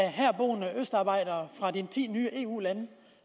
i herboende østarbejdere fra de ti nye eu lande